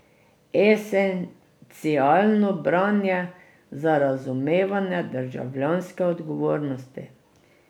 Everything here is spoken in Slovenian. Esencialno branje za razumevanje državljanske odgovornosti.